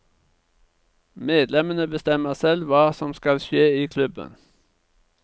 Medlemmene bestemmer selv hva som skal skje i klubben.